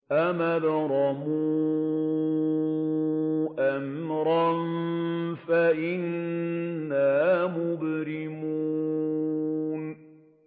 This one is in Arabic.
أَمْ أَبْرَمُوا أَمْرًا فَإِنَّا مُبْرِمُونَ